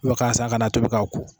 Wa ka san ka n'a tobi k'a ko